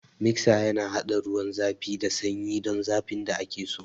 Miksa yana haɗa ruwan zafi da sanyi don zafin da ake so.